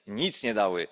Nic nie dały.